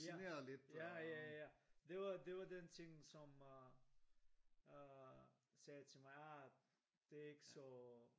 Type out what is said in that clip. Ja ja ja ja det var det var den ting som øh sagde til mig ah det er ikke så